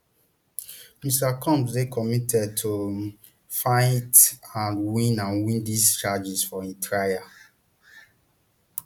mr combs dey committed to um fight and win and win dis charges for im trial